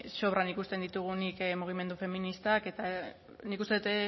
sobran ikusten ditugunik mugimendu feministak eta nik uste dut